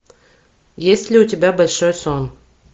есть ли у тебя большой сон